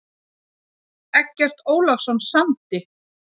Eggert Ólafsson samdi.